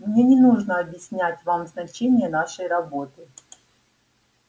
мне не нужно объяснять вам значение нашей работы